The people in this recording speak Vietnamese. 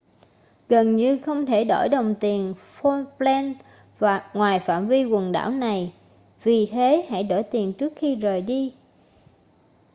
gần như không thể đổi đồng tiền falkland ngoài phạm vi quần đảo này vì thế hãy đổi tiền trước khi rời đi